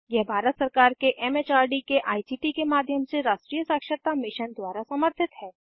यह भारत सरकार के एम एच आर डी के आई सी टी के माध्यम से राष्ट्रीय साक्षरता मिशन द्वारा समर्थित है